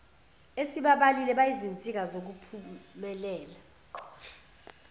esibabalile bayizinsika zokuphumelela